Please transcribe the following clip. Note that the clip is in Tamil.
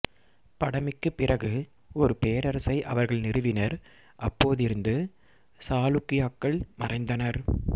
படமிக்குப் பிறகு ஒரு பேரரசை அவர்கள் நிறுவினர் அப்போதிருந்து சாலுக்கியாக்கள் மறைந்தனர்